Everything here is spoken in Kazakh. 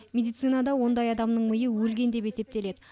медицинада ондай адамның миы өлген деп есептеледі